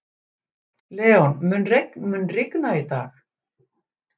Leon, mun rigna í dag?